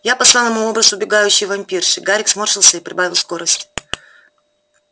я послал ему образ убегающей вампирши гарик сморщился и прибавил скорость